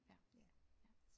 Ja ja